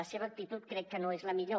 la seva actitud crec que no és la millor